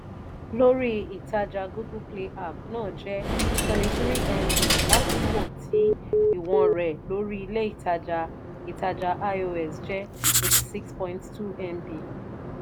lórí ìtajà google play app náà jẹ́ twenty three mb l'akoko ti ìwọ̀n rẹ̀ lórí ilé ìtajà ìtajà ios jẹ́ eighty six point two mb